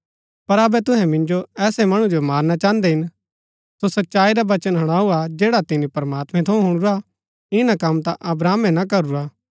पर अबै तूहै मिन्जो ऐसै मणु जो मारना चाहन्दै हिन सो सच्चाई रा वचन हुणाऊ हा जैडा तिनी प्रमात्मैं थऊँ हुणुरा ईना कम ता अब्राहमे ना करूरा